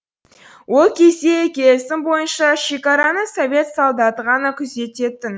ол кезде келісім бойынша шекараны совет солдаты ғана күзететін